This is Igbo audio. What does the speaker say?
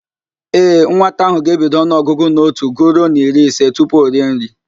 Ee, nwata ahụ ga-ebido ọnụọgụgụ n'otu guruo n'iri ise tupu o rie nri.